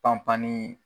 Panpan ni